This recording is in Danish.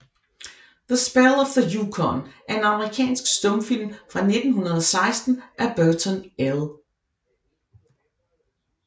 The Spell of the Yukon er en amerikansk stumfilm fra 1916 af Burton L